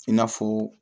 I n'a fɔ